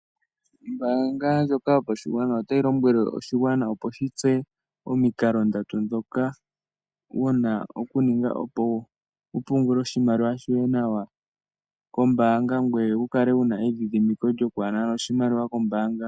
Ombaanga ndjoka yopashigwana otayi lombwele oshigwana opo shi tseye omikalo ndatu ndhoka wuna oku ninga opo wu vule oku pungula oshimaliwa shoye nawa kombaanga. Ngoye wu kale wuna eyidhidhimiko lyokwaanana oshimaliwa kombaanga.